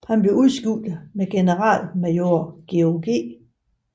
Han blev udskiftet med generalmajor George G